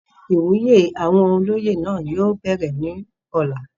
ìwúyè àwọn olóyè náà yóò bẹ̀rẹ̀ ní ọ̀la